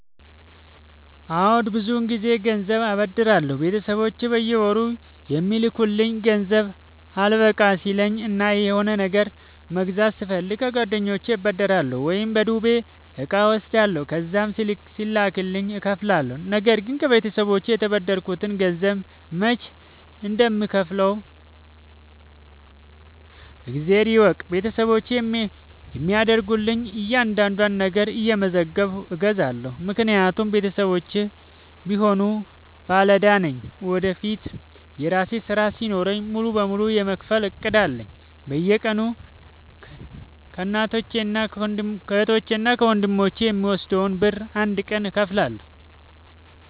አዎድ ብዙ ግዜ ገንዘብ አበደራለሁ ቤተሰቦቼ በየወሩ የሚልኩልኝ ገንዘብ አልበቃሽ ሲለኝ እና የሆነ ነገር መግዛት ስፈልግ ከጓደኞቼ እበደራለሁ። ወይም በዱቤ እቃ እወስዳለሁ ከዛም ሲላክልኝ እከፍላለሁ። ነገርግን ከቤተሰቦቼ የተበደርከትን ገንዘብ መች እንደም ከውፍለው እግዜር ይወቅ ቤተሰቦቼ የሚያደርጉልኝን እያንዳዷን ነገር እየመዘገብኩ እይዛለሁ። ምክንያቱም ቤተሰቦቼም ቢሆኑ ባለዳ ነኝ ወደፊት የራሴ ስራ ሲኖረኝ ሙሉ በሙሉ የመክፈል እቅድ አለኝ። በየቀኑ ከህቶቼ እና ከወንድሞቼ የምወስደውን ብር አንድ ቀን እከፍላለሁ።